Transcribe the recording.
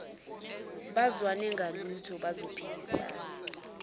bazwane ngalutho bazophikisana